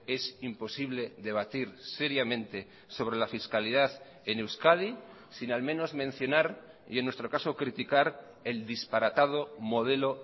es imposible debatir seriamente sobre la fiscalidad en euskadi sin al menos mencionar y en nuestro caso criticar el disparatado modelo